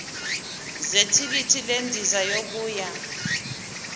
zethikithi lendiza yokuya